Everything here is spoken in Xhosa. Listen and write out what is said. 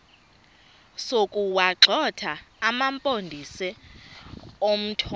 sokuwagxotha amampondomise omthonvama